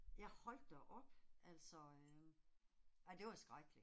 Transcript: Ja hold da op, altså øh. Ej det var skrækkeligt